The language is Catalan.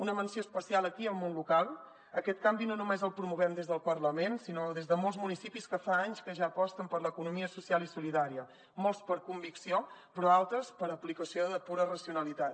una menció especial aquí al món local aquest canvi no només el promovem des del parlament sinó des de molts municipis que fa anys que ja aposten per l’economia social i solidària molts per convicció però altres per aplicació de pura racionalitat